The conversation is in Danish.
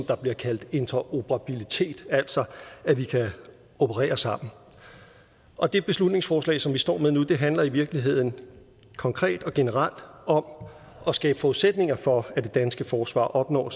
der bliver kaldt interoperabilitet altså at vi kan operere sammen og det beslutningsforslag som vi står med nu handler i virkeligheden konkret og generelt om at skabe forudsætninger for at det danske forsvar opnår